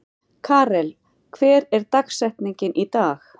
Karel, hver er dagsetningin í dag?